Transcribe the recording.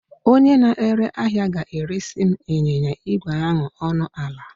Onye na-ere ahịa ga-eresị m ịnyịnya ígwè ahụ ọnụ ala